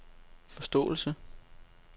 forståelse